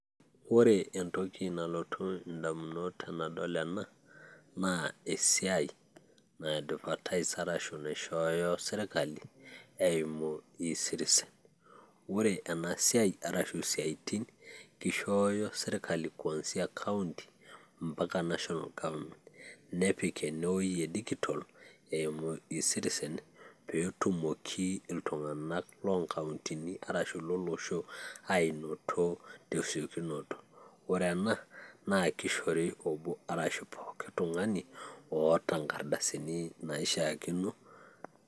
ore entoki nalotu idamunot tenidol ena naa esiai na advertise ashu naishooyo sirkali eimu ecitizen ore ena esiai arashu isiatin, kishooyo sirkali kuansia kaunti, mpaka national government nepik ene wueji e digital eimu ecitizen pee etumoki iltunganak loo nkauntini arashu lolosho ainoto tesiokinot, ore ena na kishori obbo asu poooki tungani oota nkardasini naaishaakino.